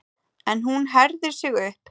En hún herðir sig upp.